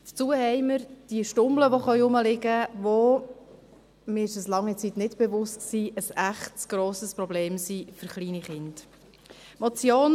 Dazu haben wir diese Stummel, die herumliegen können, welche – mir war das während einer langen Zeit nicht bewusst – ein echtes, grosses Problem für kleine Kinder sind.